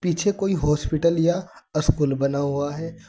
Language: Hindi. पीछे कोई हॉस्पिटल या अस्कुल बना हुआ है।